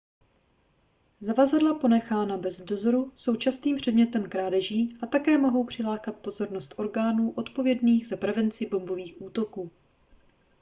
zavazadla ponechaná bez dozoru jsou častým předmětem krádeží a také mohou přilákat pozornost orgánů odpovědných za prevenci bombových útoků